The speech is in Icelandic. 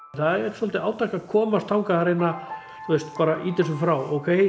það er svolítið átak að komast þangað að reyna ýta þessu frá ókei